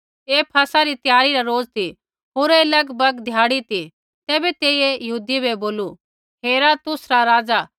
ऐ फसह री त्यारी रा रोज ती होर ऐ लगभग धयाडी ती तैबै तेइयै यहूदियै बै बोलू हेरा तुसरा राज़ा